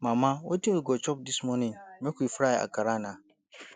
mama wetin we go chop dis morning make we fry akara na